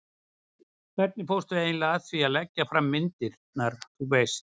hvernig fórstu eiginlega að því að leggja fram myndirnar, þú veist.